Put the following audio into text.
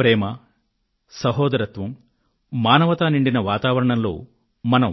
ప్రేమ సౌభ్రాతృత్వం మానవత్వం నిండిన వాతావరణంలో మనం